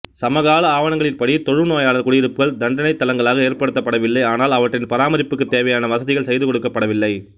சமகால ஆவணங்களின்படி தொழுநோயாளர் குடியிருப்புகள் தண்டனைத் தளங்களாக ஏற்படுத்தப்படவில்லை ஆனால் அவற்றின் பராமரிப்புக்குத் தேவையான வசதிகள் செய்துகொடுக்கப்படவில்லை